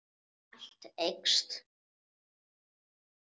Allt eykst.